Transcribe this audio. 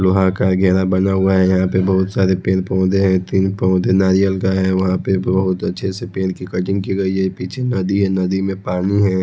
लोहा का घेरा बना हुआ है यहां पे बहुत सारे पेड़ पौधे है तीन पौधे नारियल का है वहां पे बहोत अच्छे से पेड़ की कटिंग की गई है पीछे नदी है नदी में पानी है।